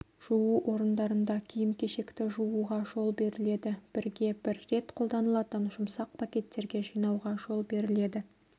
жуу орындарында киім-кешекті жууға жол беріледі бірге бір рет қолданылатын жұмсақ пакеттерге жинауға жол беріледі